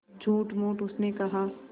झूठमूठ उसने कहा